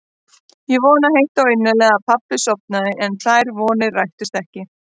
Ég vonaði heitt og innilega að pabbi sofnaði en þær vonir rættust ekki.